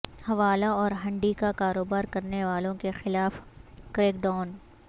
حوالہ اور ہنڈی کا کاروبار کرنیوالوں کیخلاف کریک ڈاون